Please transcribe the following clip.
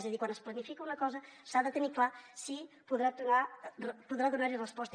és a dir quan es planifica una cosa s’ha de tenir clar si podrà donar hi resposta